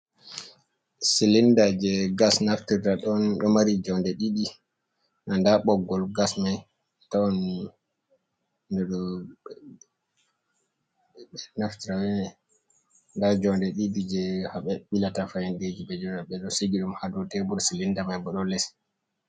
Cilinda je gas naftirta ɗon ɗo mari jonde ɗiɗi, nda ɓoggol gas mai ɗon naftira be mai, nda jonde ɗiɗi je ha ɓilata faindeji ɓe ɗo sigi ɗum ha dow tebur, cilinda mai bo ɗo les.